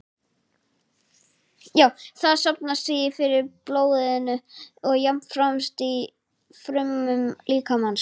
Það safnast því fyrir í blóðinu og jafnframt í frumum líkamans.